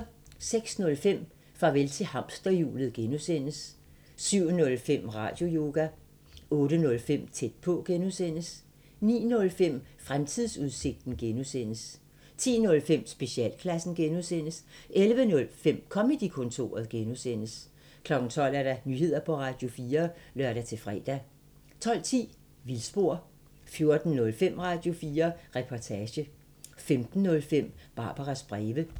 06:05: Farvel til hamsterhjulet (G) 07:05: Radioyoga 08:05: Tæt på (G) 09:05: Fremtidsudsigten (G) 10:05: Specialklassen (G) 11:05: Comedy-kontoret (G) 12:00: Nyheder på Radio4 (lør-fre) 12:10: Vildspor 14:05: Radio4 Reportage 15:05: Barbaras breve